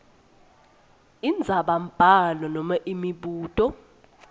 indzabambhalo nobe imibuto